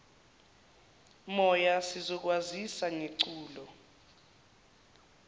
moya sizokwazisa ngeculo